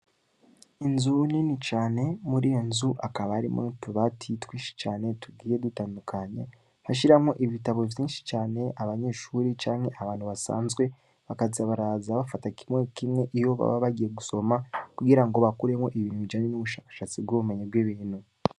Inzu nini cane, muri iyo nzu, hakaba harimwo n'utubati twinshi cane, tugiye dutandukanye, bashiramwo ibitabo vyinshi cane, abanyeshuri canke abantu basanzwe, bakaza baraza bafata kimwe kimwe, iyo baba bagiye gusoma, kugira ngo bakuremwo ibintu bijanye n'ubushakashatsi bw'ubumenyi bw'ibintu.